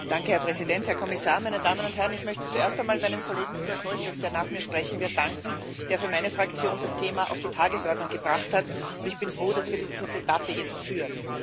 Herr Präsident, Herr Kommissar, meine Damen und Herren! Ich möchte zuerst einmal meinem Kollegen Igor Šoltes, der nach mir sprechen wird, danken, der für meine Fraktion das Thema auf die Tagesordnung gebracht hat, und ich bin froh, dass wir diese Debatte jetzt führen.